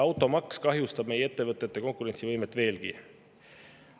Automaks kahjustab meie ettevõtete konkurentsivõimet veelgi.